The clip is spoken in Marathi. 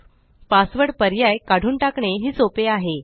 पासवर्ड पर्याय काढून टाकणे ही सोपे आहे